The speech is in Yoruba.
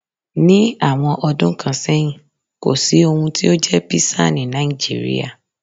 Ní àwọn ọdún kan sẹ́yìn, kò sí ohun tí ó jẹ́ Písà ní Nàìjíríà.